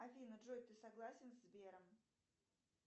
афина джой ты согласен со сбером